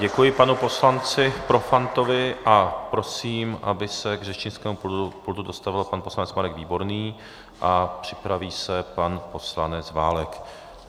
Děkuji panu poslanci Profantovi a prosím, aby se k řečnickému pultu dostavil pan poslanec Marek Výborný, a připraví se pan poslanec Válek.